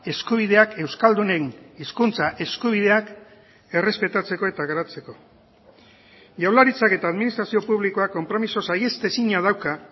eskubideak euskaldunen hizkuntza eskubideak errespetatzeko eta garatzeko jaurlaritzak eta administrazio publikoak konpromiso saihestezina dauka